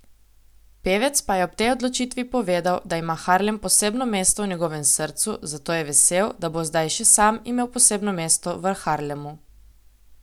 Pevec pa je ob tej odločitvi povedal, da ima Harlem posebno mesto v njegovem srcu, zato je vesel, da bo zdaj še sam imel posebno mesto v Harlemu.